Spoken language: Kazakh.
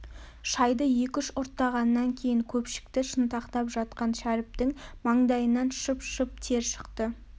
шайды екі-үш ұрттағаннан кейін көпшікті шынтақтап жатқан шәріптің маңдайынан шып-шып тер шықты